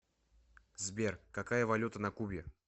сбер какая валюта на кубе